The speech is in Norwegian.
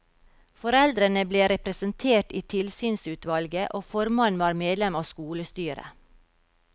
Foreldrene ble representert i tilsynsutvalget, og formannen var medlem av skolestyret.